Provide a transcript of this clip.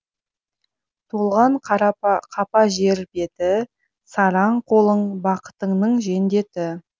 толған қапа жер беті сараң қолың бақытыңның жендеті